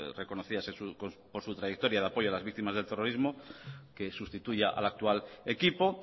reconocidas por su trayectoria al apoyo de las víctimas del terrorismo que sustituya al actual equipo